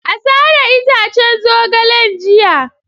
A sare itaccen zogalen jiya.